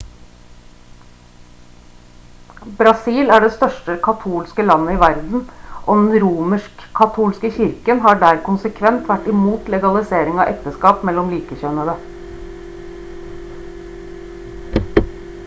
brasil er det største katolske landet i verden og den romersk-katolske kirken har der konsekvent vært imot legalisering av ekteskap mellom likekjønnede